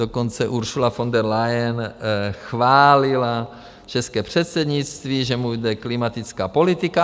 Dokonce Ursula von der Leyen chválila české předsednictví, že mu jde klimatická politika.